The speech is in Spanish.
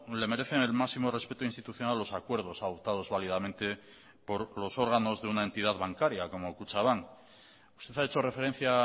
le merecen el máximo respeto institucional los acuerdos adoptados válidamente por los órganos de una entidad bancaria como kutxabank usted ha hecho referencia